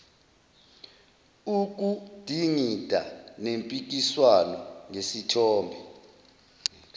ukudingida nempikiswano ngesithombe